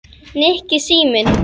Nikki, síminn